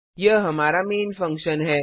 यह हमारा main function है